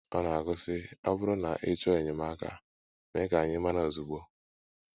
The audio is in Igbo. Ọ na - agụ, sị: “ Ọ bụrụ na ị chọọ enyemaka, mee ka anyị mara ozugbo. ”